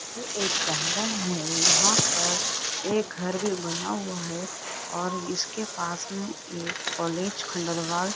ये एक गार्डन है यहां पर एक घर भी बना हुआ है और इसके पास में एक कॉलेज खंडरवाल --